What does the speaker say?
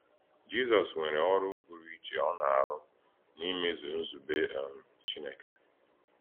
Jízọs nwèrè Òrụ̀ Pụrụ Íchè ọ na-àrụ n’ímèzu Nzùbè um Chínèkè.